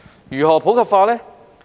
如何普及化呢？